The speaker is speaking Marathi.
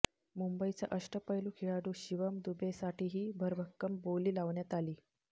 मुंबईचा अष्टपैलू खेळाडू शिवम दुबेसाठीही भरभक्कम बोली लावण्यात आली